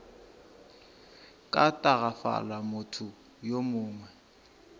ka tagafala motho yo mongwe